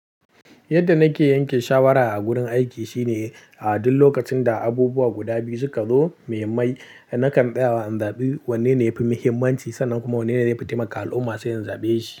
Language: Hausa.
Yadda nake yanke shawara a gurin aiki shine, a duk lokacin da abubuwa guda biyu suka zo muhimmai, na kan tsaya in zaɓi wanne ne yafi muhimmanci sannan kuma wanne ne yafi taimaka al'umma sai in zaɓe shi.